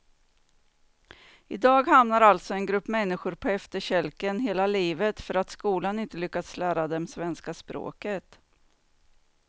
I dag hamnar alltså en grupp människor på efterkälken hela livet för att skolan inte lyckats lära dem svenska språket.